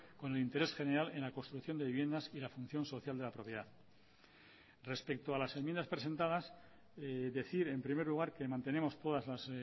con el interés general en la construcción de viviendas y la función social de la propiedad respecto a las enmiendas presentadas decir en primer lugar que mantenemos todas las